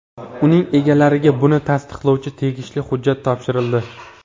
Uning egalariga buni tasdiqlovchi tegishli hujjat topshirildi.